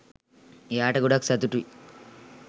එයාට ගොඩක් සතුටුයි